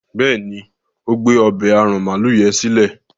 béèni o gbé ọbẹ́ aràn maalu yen silẹ.